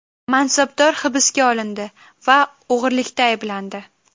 Mansabdor hibsga olindi va o‘g‘irlikda ayblandi.